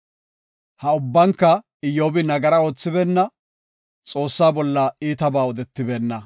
Ha ubbanka Iyyobi nagaraa oothibeenna; Xoossaa bolla iitaba odetibeenna.